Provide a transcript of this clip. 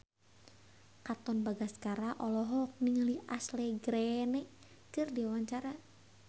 Katon Bagaskara olohok ningali Ashley Greene keur diwawancara